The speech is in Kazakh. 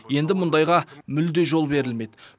енді мұндайға мүлде жол берілмейді